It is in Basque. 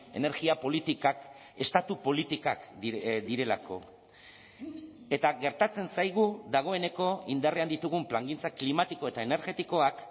energia politikak estatu politikak direlako eta gertatzen zaigu dagoeneko indarrean ditugun plangintza klimatiko eta energetikoak